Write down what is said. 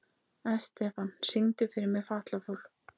Estefan, syngdu fyrir mig „Fatlafól“.